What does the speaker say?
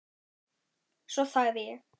Svo þagði ég.